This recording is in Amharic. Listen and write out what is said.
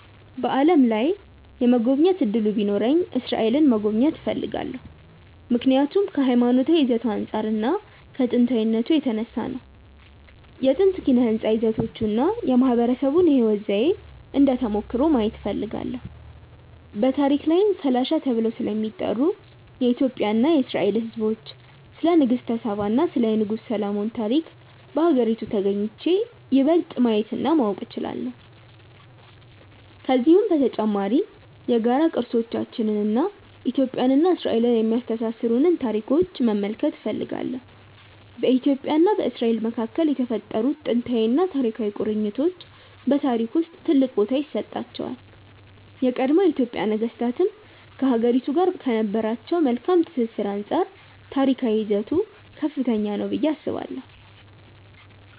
በዓለም ላይ የመጎብኘት እድሉ ቢኖረኝ እስራኤልን መጎብኘት እፈልጋለሁ። ምክንያቱም ከሀይማኖታዊ ይዘቱ አንፃር እና ከጥንታዊነቱ የተነሳ ነው። የጥንት ኪነ ህንፃ ይዘቶቹን እና የማህበረሰቡን የህይወት ዘዬ እንደ ተሞክሮ ማየት እፈልጋለሁ። በታሪክ ላይም ፈላሻ ተብለው ስለሚጠሩት የኢትዮጵያ እና የእስራኤል ህዝቦች፣ ስለ ንግስተ ሳባ እና የንጉስ ሰሎሞን ታሪክ በሀገሪቱ ተግኝቼ ይበልጥ ማየት እና ማወቅ እችላለሁ። ከዚሁም በተጨማሪ የጋራ ቅርሶቻችንን እና ኢትዮጵያን እና እስራኤልን የሚያስተሳስሩንን ታሪኮች መመልከት እፈልጋለሁ። በኢትዮጵያ እና በእስራኤል መካከል የተፈጠሩት ጥንታዊና ታሪካዊ ቁርኝቶች በታሪክ ውስጥ ትልቅ ቦታ ይሰጣቸዋል። የቀድሞ የኢትዮጵያ ነገስታትም ከሀገሪቱ ጋር ከነበራቸው መልካም ትስስር አንፃር ታሪካዊ ይዘቱ ከፍተኛ ነው ብዬ አስባለሁ።